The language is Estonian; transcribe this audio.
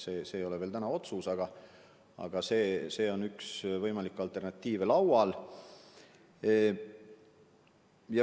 See ei ole veel langetatud otsus, aga see on üks võimalik alternatiiv laual.